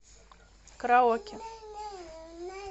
караоке